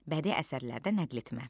Bədii əsərlərdən nəql etmə.